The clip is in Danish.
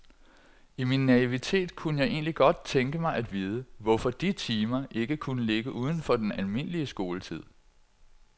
I min naivitet kunne jeg egentlig godt tænke mig at vide, hvorfor de timer ikke kunne ligge uden for den almindelige skoletid.